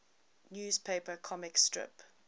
newspaper comic strip